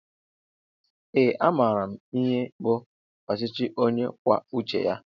Ee a maara m ihe bụ ọchịchị ónyé kwụọ uche ya